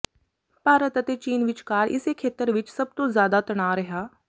ਭਾਰਤ ਅਤੇ ਚੀਨ ਵਿਚਕਾਰ ਇਸੇ ਖੇਤਰ ਵਿਚ ਸਭ ਤੋਂ ਜ਼ਿਆਦਾ ਤਣਾਅ ਰਿਹਾ